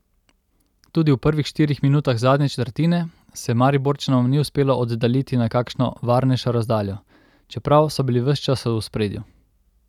Tudi v prvih štirih minutah zadnje četrtine se Mariborčanom ni uspelo oddaljiti na kakšno varnejšo razdaljo, čeprav so bili ves čas v ospredju.